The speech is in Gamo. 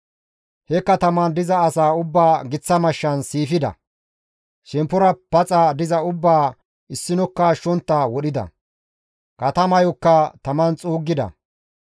He katamaan diza asaa ubbaa giththa mashshan siifida; shemppora paxa diza ubbaa issinokka ashshontta wodhida; katamayokka taman xuuggida.